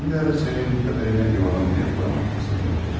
Dün bir ara Sayın Katerina İvanovnaya uğramaq fürsətini buldum.